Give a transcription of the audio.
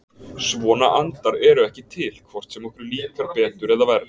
Svona andar eru ekki til, hvort sem okkur líkar betur eða verr.